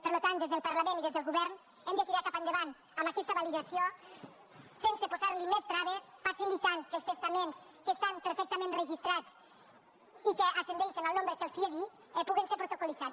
per tant des del parlament i des del govern hem de tirar cap endavant amb aquesta validació sense posar li més traves facilitant que els testaments que estan perfectament registrats i que ascendeixen al nombre que els he dit puguin ser protocol·litzats